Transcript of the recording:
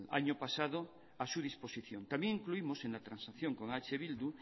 año pasado a su disposición también incluimos en la transacción con eh bildu